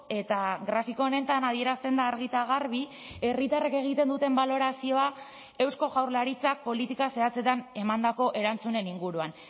eta grafiko honetan adierazten da argi eta garbi herritarrek egiten duten balorazioa eusko jaurlaritzak politika zehatzetan emandako erantzunen inguruan